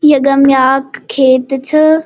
यगम याख खेत छ।